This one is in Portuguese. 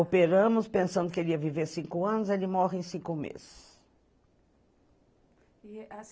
Operamos, pensando que ele ia viver cinco anos, ele morre em cinco meses.